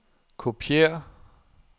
kopiér